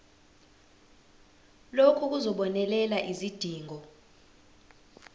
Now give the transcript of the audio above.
lokhu kuzobonelela izidingo